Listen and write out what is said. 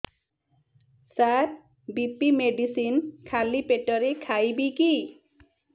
ସାର BP medicine ଖାଲି ପେଟରେ ଖାଇବି କି